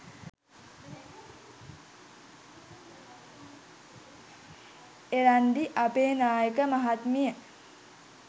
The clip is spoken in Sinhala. එරන්දි අබේනායක මහත්මිය